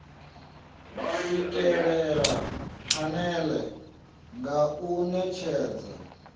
swikelela phanele nga u netshedza